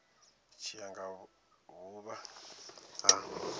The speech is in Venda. tshi ya nga vhuvha ha